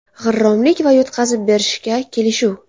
G‘irromlik va yutqazib berishga kelishuv.